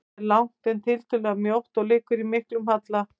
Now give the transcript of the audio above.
Það er langt, en tiltölulega mjótt og liggur í miklum halla.